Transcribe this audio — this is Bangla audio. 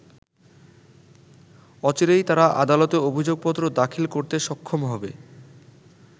অচিরেই তারা আদালতে অভিযোগপত্র দাখিল করতে সক্ষম হবে।